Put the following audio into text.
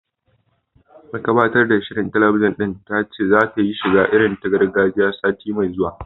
Mai gabatar da shirin talabijin ɗin ta ce zata yi shiga irin ta gargajiya, sati mai zuwa